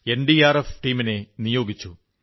NDRF ടീമിനെ നിയോഗിച്ചു